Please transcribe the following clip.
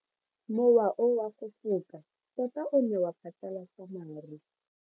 Mowa o wa go foka tota o ne wa phatlalatsa maru.